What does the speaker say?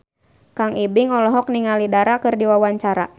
Kang Ibing olohok ningali Dara keur diwawancara